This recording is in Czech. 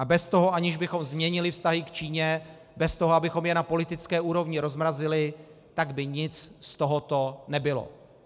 A bez toho, aniž bychom změnili vztahy k Číně, bez toho, abychom je na politické úrovni rozmrazili, tak by nic z tohoto nebylo.